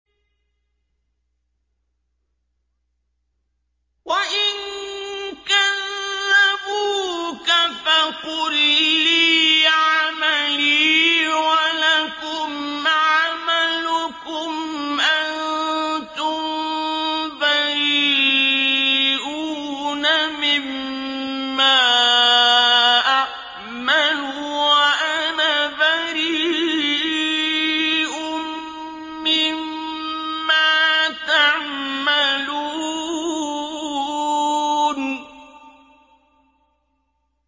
وَإِن كَذَّبُوكَ فَقُل لِّي عَمَلِي وَلَكُمْ عَمَلُكُمْ ۖ أَنتُم بَرِيئُونَ مِمَّا أَعْمَلُ وَأَنَا بَرِيءٌ مِّمَّا تَعْمَلُونَ